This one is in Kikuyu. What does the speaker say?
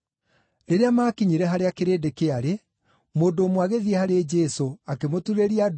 Rĩrĩa maakinyire harĩa kĩrĩndĩ kĩarĩ, mũndũ ũmwe agĩthiĩ harĩ Jesũ, akĩmũturĩria ndu,